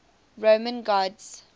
roman gods